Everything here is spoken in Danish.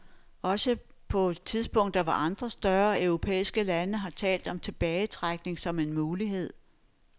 Også på tidspunkter hvor andre større europæiske lande har talt om tilbagetrækning som en mulighed.